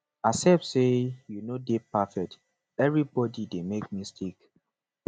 accept say yu no de perfect evribodi dey make mistake